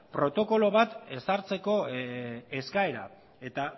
protokolo bat ezartzeko eskaera eta